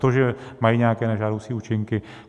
To, že mají nějaké nežádoucí účinky?